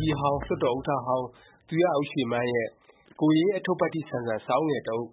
ကြီးဟောင်း၊ လွှတ်တော်ဥက္ကဌဟောင်း သူရဦးရွှေမန်းရဲ့ ကိုယ်ရေးအထုပ္ပတ္တိ ဆန်ဆန် စာအုပ်ငယ်တစ်အုပ်